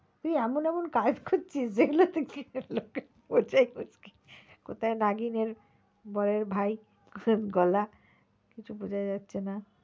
তুই এমন এমন কাজ করছিস যে যেগুলো তে লোকের বোঝাই মুশকিল কোথায় নাগিনের ভাই, কিছু বোঝা যাচ্ছে না।